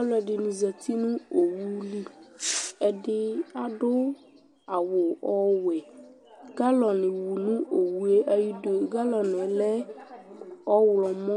Alʋɛdɩnɩ zati nʋ owu li Ɛdɩ adʋ awʋ ɔwɛ Galɔn wu nʋ owu yɛ ayidu Galɔn yɛ lɛ ɔɣlɔmɔ,